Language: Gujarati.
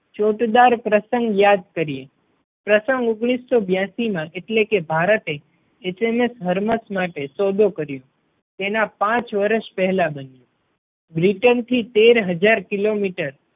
ચોટદાર પ્રસંગ યાદ કરીએ. પ્રસંગ ઓગણીસો બ્યાસી માં એટલે કે ભારતે HMS Hermes માટે સોદો કર્યો તેના પાંચ વર્ષ પહેલા બન્યું. બ્રિટન થી તેર હજાર કિલોમીટર